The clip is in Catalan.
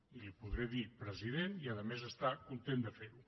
i li podré dir president i a més estar content de fer ho